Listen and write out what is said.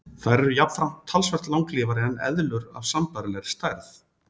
Þær eru jafnframt talsvert langlífari en eðlur af sambærilegri stærð.